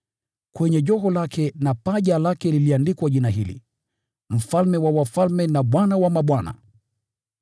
Kwenye joho lake na paja lake pameandikwa jina hili: Mfalme wa wafalme, na Bwana wa mabwana.